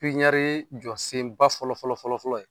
Pipiniyɛri jɔsen ba fɔlɔ fɔlɔ fɔlɔ fɔlɔ ye